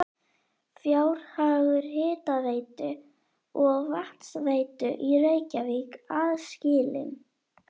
Fjárhagur hitaveitu og vatnsveitu í Reykjavík aðskilinn.